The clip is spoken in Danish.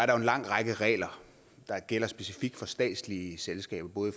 er en lang række regler der gælder specifikt for statslige selskaber